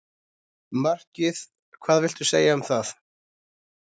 Markið hvað viltu segja um það?